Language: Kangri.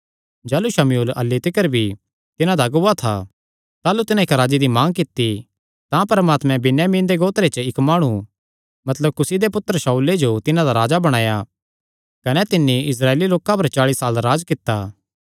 जाह़लू शमूएल अह्ल्ली तिकर भी तिन्हां दा अगुआ था ताह़लू तिन्हां इक्क राजे दी मांग कित्ती तां परमात्मैं बिन्यामीन दे गोत्रे च इक्क माणु मतलब कुसी दे पुत्तर शाऊले जो तिन्हां दा राजा बणाया कने तिन्नी इस्राएली लोकां पर चाल़ी साल राज्ज कित्ता